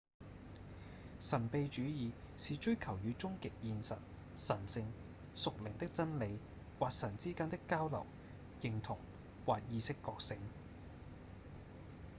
神祕主義是追求與終極現實、神性、屬靈的真理、或神之間的交流、認同、或意識覺醒